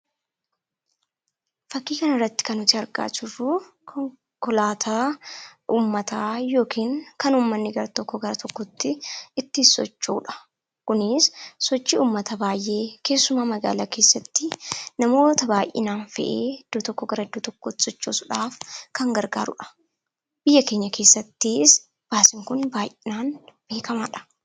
Fakkii kana irratti kan nuti argaa jirruu, konkolaataa uummataa yookiin kan uummanni gara tokkoo gara tokkotti ittiin socho'udha. Kunis sochii uummata baayyee keessumaa magaalaa keessattii namoota baayyinaan fe'ee iddoo tokkoo gara iddoo tokkotti sochoosuudhaaf kan gargaarudha. Biyya keenya keessattis baasiin Kun baayyinaan beekamaadha.